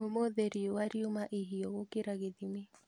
Ũmũthĩ riua riuma ihiũ gũkĩria gĩthimi